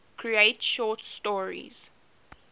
create short stories